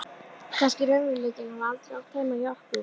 Kannski raunveruleikinn hafi aldrei átt heima hjá okkur.